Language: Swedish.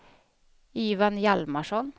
Ivan Hjalmarsson